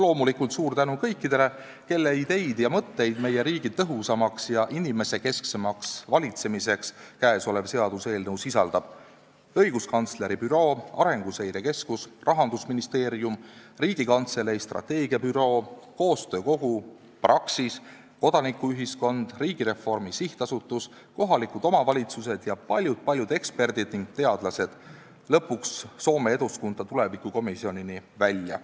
Loomulikult suur tänu kõikidele, kelle ideid ja mõtteid meie riigi tõhusama ja inimesekesksema valitsemise kohta käesolev seaduseelnõu sisaldab: õiguskantsleri büroo, Arenguseire Keskus, Rahandusministeerium, Riigikantselei strateegiabüroo, koostöö kogu, Praxis, kodanikuühiskond, Riigireformi SA, kohalikud omavalitsused ja paljud-paljud eksperdid ning teadlased, Soome Eduskunta tulevikukomisjonini välja.